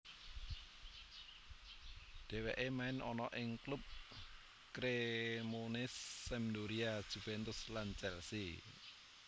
Dheweke main ana ing klub Cremonese Sampdoria Juventus lan Chelsea